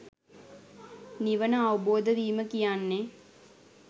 නිවන අවබෝධ වීම කියන්නේ